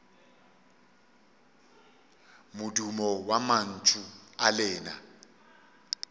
modumo wa mantšu a lena